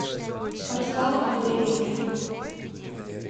арслану андреевичу